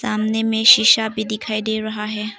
सामने में शिशा भी दिखाई दे रहा है।